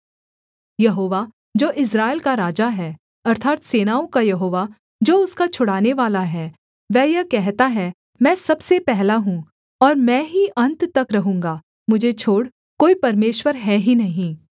यहोवा जो इस्राएल का राजा है अर्थात् सेनाओं का यहोवा जो उसका छुड़ानेवाला है वह यह कहता है मैं सबसे पहला हूँ और मैं ही अन्त तक रहूँगा मुझे छोड़ कोई परमेश्वर है ही नहीं